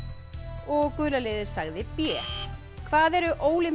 og gula liðið sagði b hvað eru